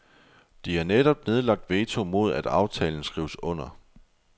De har netop nedlagt veto imod at aftalen skrives under.